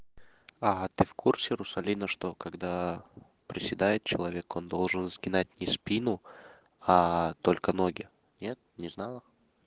ага ты в курсе русалина что когда приседает человек он должен сгинать не спину а только ноги нет не знала